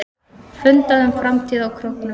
Fundað um framtíð á Króknum